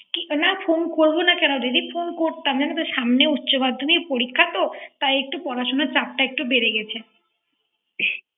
না ফোন করবো কোন দিদি। ফোন করতাম জানতো সামনে উচ্চ মাধ্যমিক পরিক্ষাতো। তাই একটু পড়াশুনার চাপটা একটু বেরে গেছে।